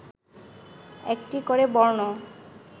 একটি করে বর্ণ